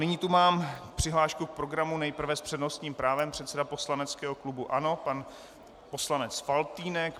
Nyní tu mám přihlášku k programu - nejprve s přednostním právem předseda poslaneckého klubu ANO pan poslanec Faltýnek.